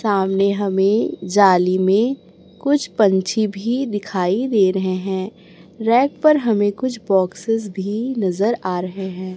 सामने हमें जाली में कुछ पंछी भी दिखाई दे रहे है रैक पर हमें कुछ बॉक्सेस भी नजर आ रहे हैं।